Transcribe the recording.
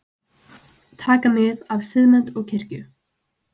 Taka mið af Siðmennt og kirkju